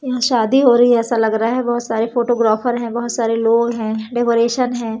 यहां शादी हो रही है ऐसा लग रहा है बहोत सारे फोटोग्राफर है बहोत सारे लोग हैं डेकोरेशन है।